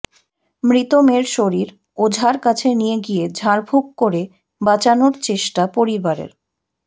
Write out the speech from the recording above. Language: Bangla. মৃত মেয়ের শরীর ওঝার কাছে নিয়ে গিয়ে ঝাঁড়ফুক করে বাঁচানোর চেষ্টা পরিবারের